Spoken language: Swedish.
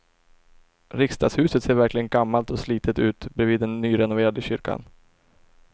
Riksdagshuset ser verkligen gammalt och slitet ut bredvid den nyrenoverade kyrkan.